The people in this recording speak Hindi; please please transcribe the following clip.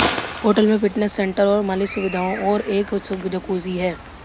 होटल में फिटनेस सेंटर और मालिश सुविधाओं और एक जकूज़ी है